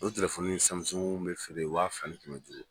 O telefɔni bɛ feere wa fila ni kɛ duuru.